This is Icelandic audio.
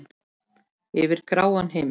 Yfir gráan himin.